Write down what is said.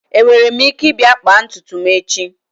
Enwere m ike ịbịa kpaa ntutu m echi?